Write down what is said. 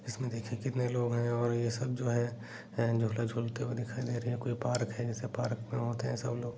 इसमें देखिए कितने लोग हैं और ये सब जो है झूला झूलते हुए दिखाई दे रहे है कोई पार्क है जैसे पार्क में होते है सब लोग।